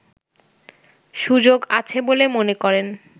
সুযোগ আছে বলে মনে করেন